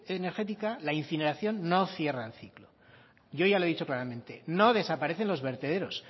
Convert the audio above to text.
energética la incineración no cierra el ciclo yo ya lo he dicho claramente no desaparecen los vertederos